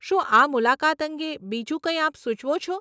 શું આ મુલાકાત અંગે બીજું કંઈ આપ સુચવો છો?